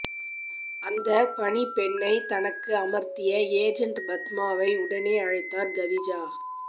அந்தப் பணிப்பெண்ணைத் தனக்கு அமர்த்திய ஏஜண்ட பத்மாவை உடனே அழைத்தார் கதிஜா